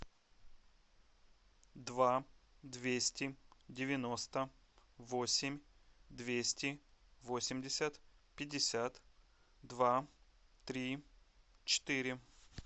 два двести девяносто восемь двести восемьдесят пятьдесят два три четыре